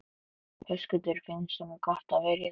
Höskuldur: Finnst honum gott að vera í þessu?